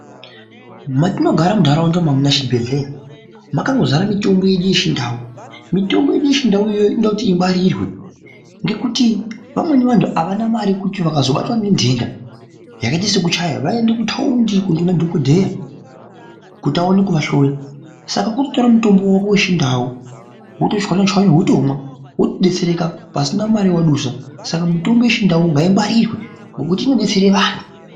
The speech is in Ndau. Matinogara munharaunda mwedu imwomwo makangozara mitombo yeduu yechindau .Mitombo yedu yechindau iyoyo inoda kuti ingwarirwe ngwkuti vamweni vantu avana mare yekuti vakazobatwe ngendenda yakaite sekuchaya baende kutaundi kunemadhokodheya kiti awane kuahloya, ska kutotora mitombo yako yechindau wotochwanya chwanya wotomwa ,wotodetsereka pasina mare yawadusa. Saka mitombo yedu yechindau ngaingwarirwe ngekuti inodetsere antu.